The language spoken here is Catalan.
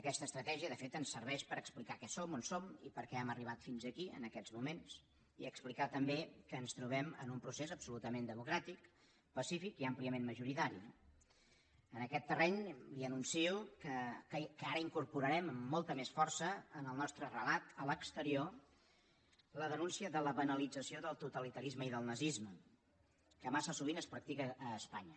aquesta estratègia de fet ens serveix per explicar què som on som i per què hem arribat fins aquí en aquests moments i explicar també que ens trobem en un procés absolutament democràtic pacífic i àmpliament majoritari no en aquest terreny li anuncio que ara incorporarem amb molta més força en el nostre relat a l’exterior la denúncia de la banalització del totalitarisme i del nazisme que massa sovint es practica a espanya